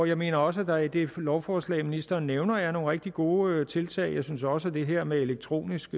jeg mener også at der i det lovforslag ministeren nævner er nogle rigtig gode tiltag jeg synes også at det her med elektronisk